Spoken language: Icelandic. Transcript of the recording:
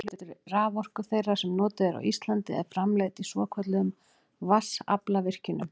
meirihluti raforku þeirrar sem notuð er á íslandi er framleidd í svokölluðum vatnsaflsvirkjunum